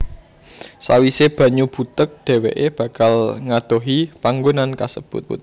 Sawise banyu butek dheweké bakal ngadohi panggonan kasebut